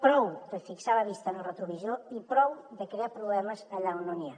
prou de fixar la vista en el retrovisor i prou de crear problemes allà on no n’hi ha